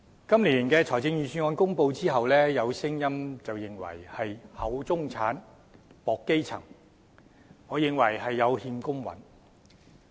今年的財政預算案公布後，有聲音認為是"厚中產，薄基層"，我認為有欠公允。